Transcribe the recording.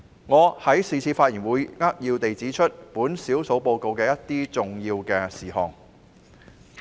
我在是次發言會扼要指出少數報告的一些重點事項。